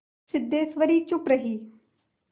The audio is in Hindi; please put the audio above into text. सिद्धेश्वरी चुप रही